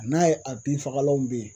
N'a ye a binfagalanw bɛ yen